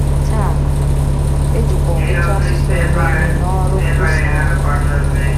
Taa, e jikwa ọtụtụ asụsụ eme ihe n’ọrụ nkwusa ahụ.